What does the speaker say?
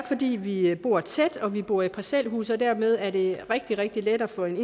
fordi vi bor tæt vi bor i parcelhuse og dermed er det rigtig rigtig let for en